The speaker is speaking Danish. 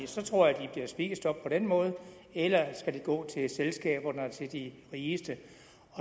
så tror jeg at de bliver spist op på den måde eller skal de gå til selskaberne og til de rigeste